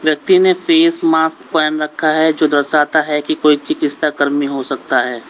व्यक्ति ने face mask पहन रखा है जो दर्शाता है कोई चिकित्सा कर्मी हो सकता है।